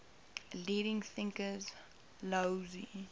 leading thinkers laozi